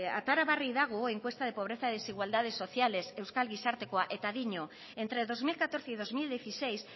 orain atera berri dago encuesta de pobreza y desigualdades sociales euskal gizartekoa eta dio entre dos mil catorce y dos mil dieciséis